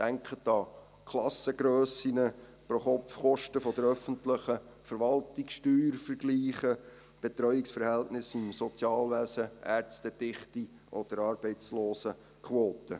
Denken Sie an Klassengrössen, Pro-Kopf-Kosten der öffentlichen Verwaltung, Steuervergleiche, Betreuungsverhältnisse im Sozialwesen, Ärztedichte oder Arbeitslosenquoten.